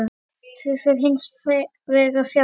Því fer hins vegar fjarri.